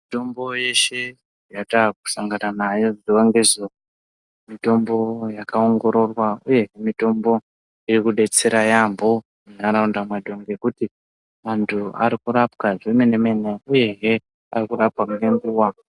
Mitombo yeshe yataa kusangana nayo zuwa ngezuwa, mitombo yakaongororwa uye mitombo iri kudetsera yampho ndaraunda ngekuti antu ari kurapwa zvemene-mene uyehe arikurapwa ngenguwa.